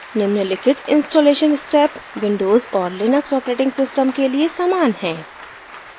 निम्नलिखित installation steps windows और Linux operating system के लिए समान है